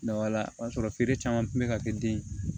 o y'a sɔrɔ feere caman tun bɛ ka kɛ den ye